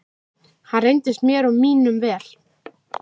Hann reyndist mér og mínum vel.